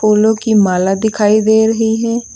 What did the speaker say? फूलों की माला दिखाई दे रही है।